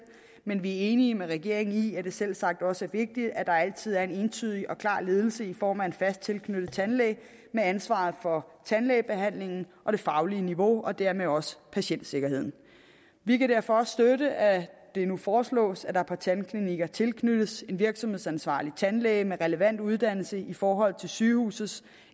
men vi er enige med regeringen i at det selvsagt også er vigtigt at der altid er en entydig og klar ledelse i form af en fast tilknyttet tandlæge med ansvaret for tandlægebehandlingen og det faglige niveau og dermed også patientsikkerheden vi kan derfor også støtte at det nu foreslås at der på tandklinikker tilknyttes en virksomhedsansvarlig tandlæge med relevant uddannelse i forhold til sygehusets